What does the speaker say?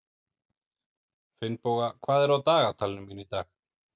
Finnboga, hvað er á dagatalinu mínu í dag?